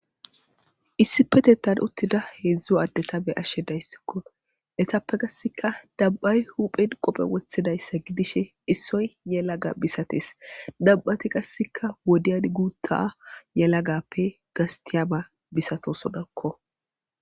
Issipetettan uttida heedzdzo addeta be ashshe dayssikko etappe qasseka dabbay huphen qophe woththidayssa gidishe issoy yelaga bisates dabbati qassika wodiyad guutta yelagappe gastiyaba bisatosodakko.